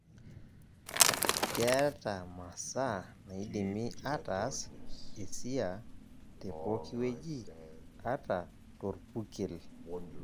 Keeta masaa naidimi ataas esia te poki weji, ata torpurkel.